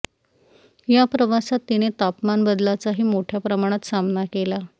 या प्रवासात तिने तापमान बदलाचाही मोठ्या प्रमाणात सामना केला